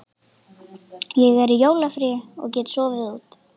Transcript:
Ég er í jólafríi og get sofið út.